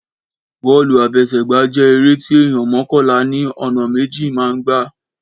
Bọ́ọ́lù àfesẹ̀gbá jẹ́ eré tí èèyàn mọ́kànlá ní ọ̀nà méjì máa ń gbá